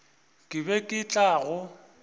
ke be ke tla go